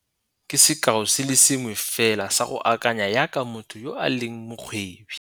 Ke sekao se le sengwe fela sa go akanya jaaka motho yo a leng mokgwebi.